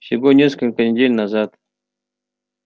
всего несколько недель назад